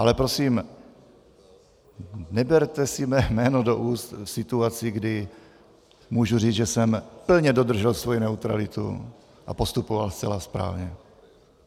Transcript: Ale prosím, neberte si mé jméno do úst v situaci, kdy můžu říct, že jsem plně dodržel svou neutralitu a postupoval zcela správně.